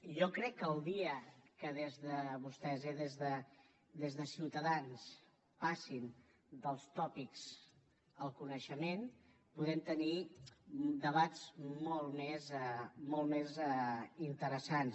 jo crec que el dia que des de vostès eh ciutadans passin dels tòpics al coneixement podrem tenir debats molt més interessants